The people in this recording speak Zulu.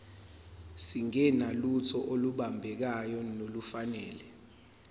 singenalutho olubambekayo nolufanele